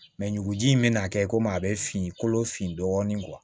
ɲuguji in bɛna kɛ komi a bɛ fin kolo fin dɔɔnin